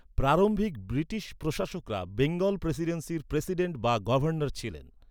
প্রারম্ভিক ব্রিটিশ প্রশাসকরা বেঙ্গল প্রেসিডেন্সির প্রেসিডেন্ট বা গভর্নর ছিলেন।